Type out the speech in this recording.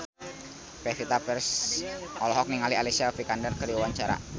Pevita Pearce olohok ningali Alicia Vikander keur diwawancara